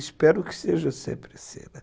Espero que seja sempre assim, né.